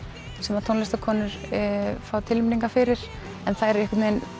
sem tónlistarkonur fá tilnefningar fyrir en þær einhvern vegin